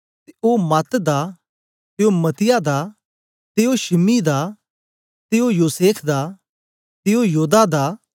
ते ओ मात दा ते ओ मत्तीत्याह दा ते ओ शिमी दा ते ओ योसेख दा ते ओ योदाह दा